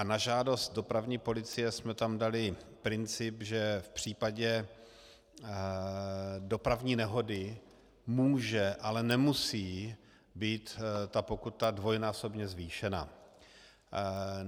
A na žádost dopravní policie jsme tam dali princip, že v případě dopravní nehody může, ale nemusí být ta pokuta dvojnásobně zvýšena.